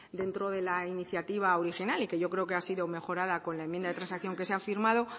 dentro de la iniciativa original y que yo creo que ha sido mejorada con la enmienda de transacción que se ha firmado